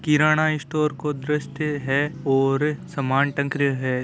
किराना store को दर्शय है और सामान टग रयो है।